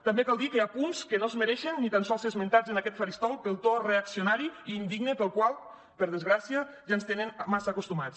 també cal dir que hi ha punts que no es mereixen ni tan sols ser esmentats en aquest faristol pel to reaccionari i indigne al qual per desgràcia ja ens tenen massa acostumats